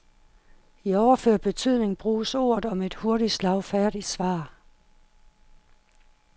I overført betydning bruges ordet om et hurtigt, slagfærdigt svar.